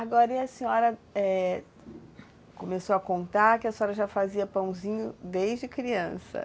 Agora, e a senhora começou a contar que a senhora já fazia pãozinho desde criança?